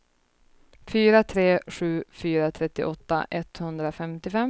fyra tre sju fyra trettioåtta etthundrafemtiofem